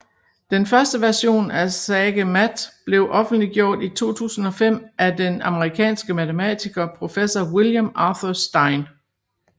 Den første version af SageMath blev offentliggjort i 2005 af den amerikanske matematiker professor William Arthur Stein